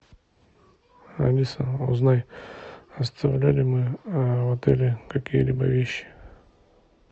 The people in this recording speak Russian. алиса узнай оставляли мы в отеле какие либо вещи